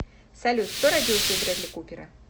салют кто родился у брэдли купера